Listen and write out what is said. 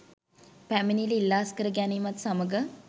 පැමිණිල්ල ඉල්ලා අස්‌කර ගැනීමත් සමග